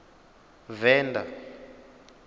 venda